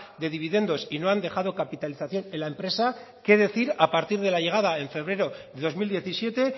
de dividendos y no han dejado capitalización en la empresa qué decir a partir de la llegada en febrero de dos mil diecisiete